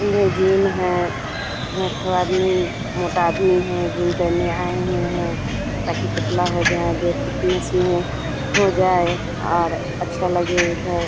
मे gym है इसमें एक ठो आदमी मोटा भी है जिनको है ताकि पतला हो जाए देख हो जाए और अच्छा लगे इधर--